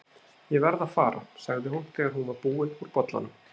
Ég verð að fara, sagði hún þegar hún var búin úr bollanum.